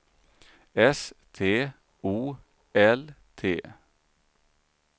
S T O L T